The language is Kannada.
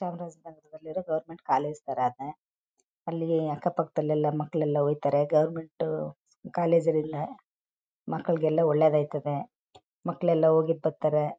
ಗೋರ್ಮೆಂಟ್ ಕಾಲೇಜ್ ತರಾನೇ ಅಲ್ಲಿ ಅಕ್ಕ ಪಕ್ಕದಲ್ಲಿ ಎಲ್ಲಾ ಮಕ್ಕಳಲ್ಲ ಹೋಗ್ತಾರೆ ಗೌರ್ಮೆಂಟ್ ಕಾಲೇಜ್ ಅಲ್ಲ ಮಕ್ಳಿಗೆಲ್ಲಾ ಒಳ್ಳೇದಾಯ್ತು ಮಕ್ಕಳೆಲ್ಲ ಹೋಗಿ ಬರ್ತಾರೆ.